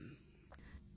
தொலைபேசி அழைப்பு 2